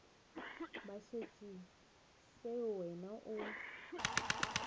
ba šetše seo wena o